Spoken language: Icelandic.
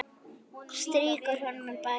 Strýkur honum um bakið.